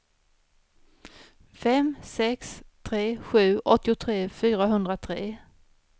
fem sex tre sju åttiotre fyrahundratre